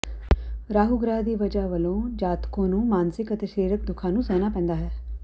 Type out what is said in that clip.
ਰਾਹੂ ਗ੍ਰਹਿ ਦੀ ਵਜ੍ਹਾ ਵਲੋਂ ਜਾਤਕੋਂ ਨੂੰ ਮਾਨਸਿਕ ਅਤੇ ਸਰੀਰਕ ਦੁੱਖਾਂ ਨੂੰ ਸਹਨਾ ਪੈਂਦਾ ਹੈ